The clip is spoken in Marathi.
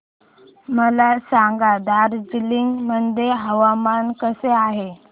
मला सांगा दार्जिलिंग मध्ये हवामान कसे आहे